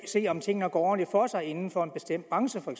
se om tingene går ordentligt for sig inden for en bestemt branche for